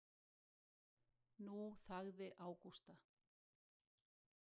Nú þagði Ágústa.